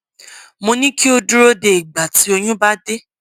mo ní kí o dúró de ìgbà tí oyún bá dé